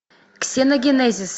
ксеногенезис